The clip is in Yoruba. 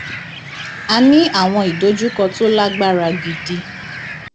a ní àwọn ìdojúkọ tó lágbára gidi